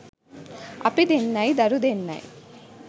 අපි දෙන්නයි දරු දෙන්නයි